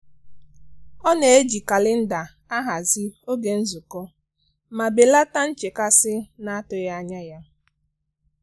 ọ na-eji kalenda ahazi oge nzukọ ma belata nchekasị na-atụghị anya ya.